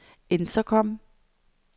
intercom